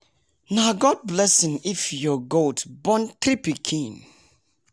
nah god blessing if your goat born three pikin